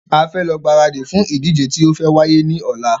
A fẹ lọ gbáradì fún ìdíje tí o fe wáyé ní ọ̀la